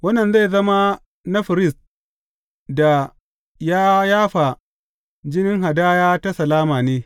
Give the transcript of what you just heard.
Wannan zai zama na firist da ya yafa jinin hadaya ta salama ne.